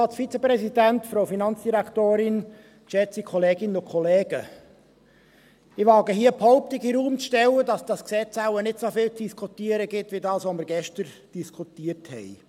Ich wage hier die Behauptung in den Raum zu stellen, dass dieses Gesetz wahrscheinlich nicht so viel zu diskutieren gibt wie dasjenige, das wir gestern diskutiert haben.